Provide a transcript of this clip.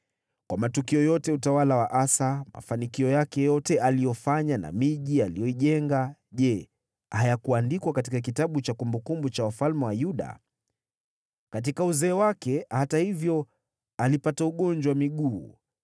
Kwa matukio yote ya utawala wa Asa, mafanikio yake yote, yote aliyofanya na miji aliyoijenga, je, hayakuandikwa katika kitabu cha kumbukumbu za wafalme wa Yuda? Katika uzee wake, hata hivyo, alipata ugonjwa wa miguu.